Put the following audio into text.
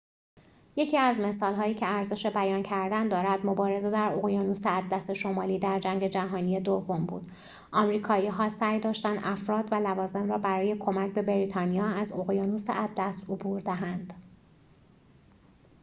یکی از مثال‌هایی که ارزش بیان کردن دارد مبارزه در اقیانوس اطلس شمالی در جنگ جهانی دوم بود آمریکایی‌ها سعی داشتند افراد و لوازم را برای کمک به بریتانیا از اقیانوس اطلس عبور دهند